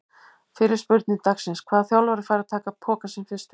Fyrri spurning dagsins: Hvaða þjálfari fær að taka pokann sinn fyrstur?